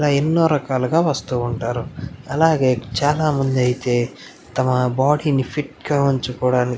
ఇలా ఎన్నో రకాలుగా వస్తూ ఉంటారు అలాగే చాలామందైతే తమ బాడీ ని ఫిట్ ఉంచొకోవడానికి --